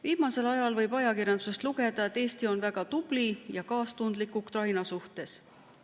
Viimasel ajal võib ajakirjandusest lugeda, et Eesti on väga tubli ja kaastundlik Ukraina suhtes.